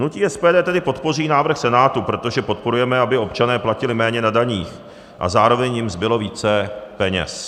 Hnutí SPD tedy podpoří návrh Senátu, protože podporujeme, aby občané platili méně na daních a zároveň jim zbylo více peněz.